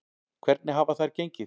Hvernig hafa þær gengið?